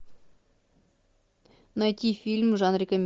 найти фильм в жанре